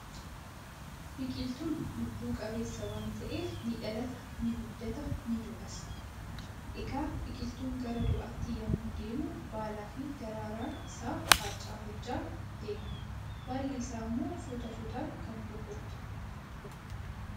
biqiltuun lubbu qabeessa waan ta'eef ni dhalata, ni guddata, ni du'as. egaa biqiltuun gara du'aatti yommuu deemu baalaafi daraaraa isaa harcaafachaa deema. baalli isaas immoo suuta suutaan kan goggogu ta'a.